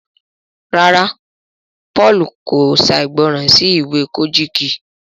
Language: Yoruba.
ràrá Paul kò ṣàìgbọràn sí ìwé Kojiki.